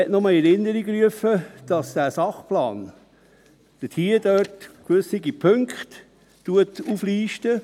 Ich möchte nur in Erinnerung rufen, dass dieser Sachplan gewisse Punkte auflistet.